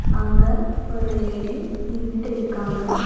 அங்க ஒரு லேடி நின்னுட்டு இருக்காங்க.